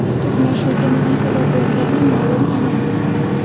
To‘qnashuvga nima sabab bo‘lgani ma’lum emas.